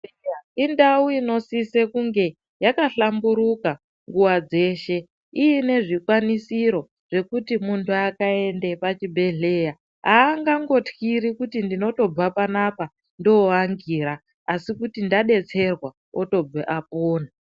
Indau inosisa kunge yakahlamburuka nguwa dzeshe iine zvikwanisiro zvekuti muntu akaende pachibhehleya , aangangotkiri kuti ndinotobva panapa ndooangira asi kuti ndadetserwa otobvepo apona .